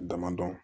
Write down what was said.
Dama dɔn